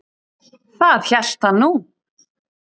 Það hélt hann nú.